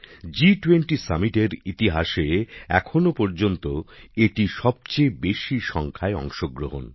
জি২০র শীর্ষ সম্মেলনের ইতিহাসে এখনও পর্যন্ত এটি সবচেয়ে বেশিসংখ্যায় অংশগ্রহণ